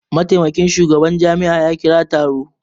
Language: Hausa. Mataimakin shugaban jami'a ya kira taro